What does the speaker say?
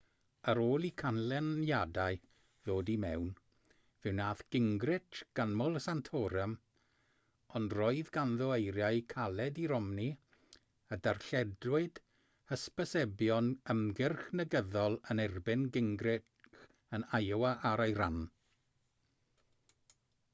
ar ôl i'r canlyniadau ddod i mewn fe wnaeth gingrich ganmol santorum ond roedd ganddo eiriau caled i romney y darlledwyd hysbysebion ymgyrch negyddol yn erbyn gingrich yn iowa ar ei ran